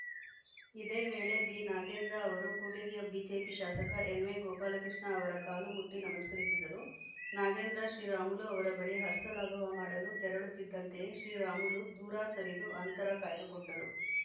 ಇದೇ ವೇಳೆ ಬಿನಾಗೇಂದ್ರ ಅವರು ಕೂಡ್ಲಿಗಿಯ ಬಿಜೆಪಿ ಶಾಸಕ ಎನ್‌ವೈಗೋಪಾಲ ಕೃಷ್ಣ ಅವರ ಕಾಲು ಮುಟ್ಟಿ ನಮಸ್ಕರಿಸಿದರು ನಾಗೇಂದ್ರ ಶ್ರೀರಾಮುಲು ಅವರ ಬಳಿ ಹಸ್ತಲಾಘವ ಮಾಡಲು ತೆರಳುತ್ತಿದ್ದಂತೆಯೇ ಶ್ರೀರಾಮುಲು ದೂರ ಸರಿದು ಅಂತರ ಕಾಯ್ದುಕೊಂಡರು